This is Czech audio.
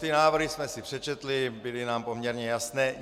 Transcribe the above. Ty návrhy jsme si přečetli, byly nám poměrně jasné.